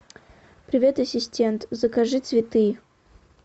привет ассистент закажи цветы